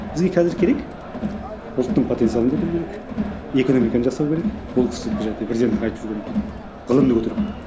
бізге қазір керек ұлттың потенциалын көтеру керек экономиканы жасау керек ол кісі президеттің айтып жүргені ғылымды көтеру керек